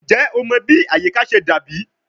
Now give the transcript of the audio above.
Njẹ o mọ bi ayika ṣe dabi?